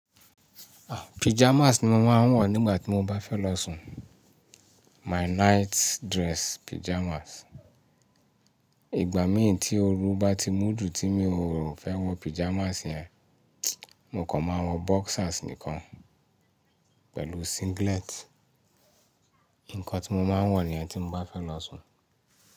Ah! Pyjamas ni mo máa ń wọ̀ nígbà tí mo bá fẹ́ lọ sùn. My night dress pyjamas. Ìgbà míì tí ooru bá ti mú ju tí mi ò fẹ́ wọ pyjamas yẹn, mo kàn máa wọ boxers nìkan pẹ̀lú singlet. Nǹkan tí mo máa ń wọ̀ níyẹn tí mo bá fẹ́ lọ sùn.